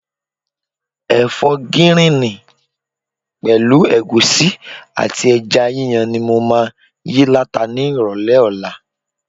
Ẹ̀fọ́ gíríìnì pẹ̀lú ẹ̀gúsí àti ẹja yíyan ni mo máa yí láta ni ìrọ̀lẹ́ ọ̀la.